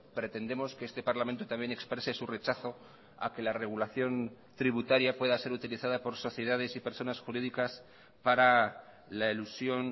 pretendemos que este parlamento también exprese su rechazo a que la regulación tributaria pueda ser utilizada por sociedades y personas jurídicas para la elusión